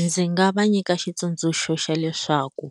Ndzi nga va nyika xitsundzuxo xa leswaku